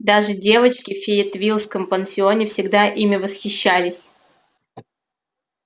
даже девочки в фейетвиллском пансионе всегда ими восхищались